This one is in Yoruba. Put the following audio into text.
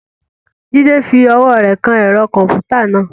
Jide fi ọwọ́ rẹ̀ kan ẹ̀rọ kọ̀m̀pútà náà.